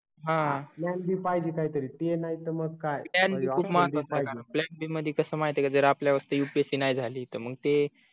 हा plan b पाहिजे काही तरी ते नाही तर मग काय plan b खूप महत्वाचा आहे कारण plan b मध्ये कस माहितेय का जर आपल्या वरती upsc नाही झाली तर मग ते